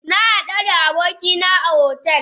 Na hadu da abokina a otel